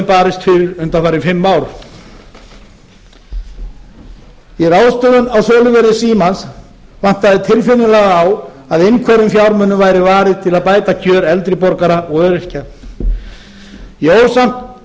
barist fyrir undanfarin fimm ár í ráðstöfun á söluverði símans vantaði tilfinnanlega á að einhverjum fjármunum væri varið til að bæta kjör eldri borgara og öryrkja ég ól